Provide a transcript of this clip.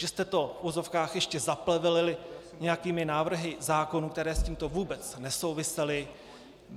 Že jste to, v uvozovkách, ještě zaplevelili nějakými návrhy zákonů, které s tímto vůbec nesouvisely.